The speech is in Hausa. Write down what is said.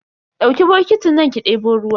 Dauki bokitin nan ki debo ruwa.